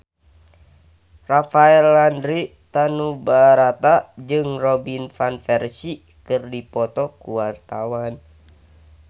Rafael Landry Tanubrata jeung Robin Van Persie keur dipoto ku wartawan